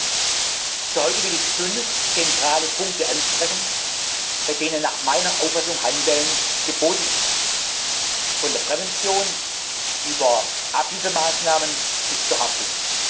Für heute will ich fünf zentrale Punkte ansprechen, bei denen nach meiner Auffassung Handeln geboten ist, von der Prävention über Abhilfemaßnahmen bis zur Haftung.